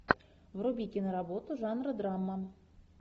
вруби киноработу жанра драма